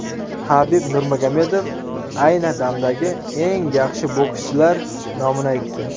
Habib Nurmagomedov ayni damdagi eng yaxshi bokschilar nomini aytdi.